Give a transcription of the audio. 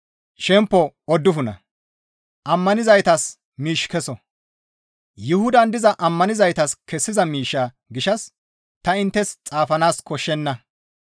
Yuhudan diza ammanizaytas kessiza miishsha gishshas ta inttes xaafanaas koshshenna.